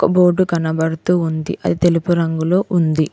Board కనబడుతూ ఉంది అది తెలుపు రంగులో ఉంది.